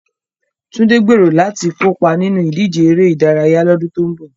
Tunde gbèrò láti kópa nínú ìdíje eré ìdárayá lọ́dún tó ń bọ̀.